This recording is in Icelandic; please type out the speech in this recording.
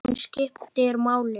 Þetta var mikil ferð.